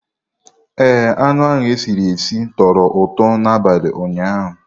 Ee, anụ e siri sie tọrọ ụtọ n'abalị ụnyaahụ.